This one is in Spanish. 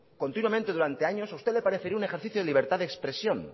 continuamente durante años a usted le parecía un ejercicio de libertad de expresión